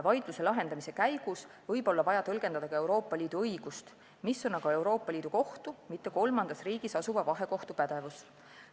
Vaidluse lahendamise käigus võib olla vaja tõlgendada ka Euroopa Liidu õigust, mis on aga Euroopa Liidu Kohtu, mitte kolmandas riigis asuva vahekohtu pädevus.